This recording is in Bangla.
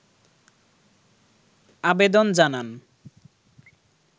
আবেদন জানান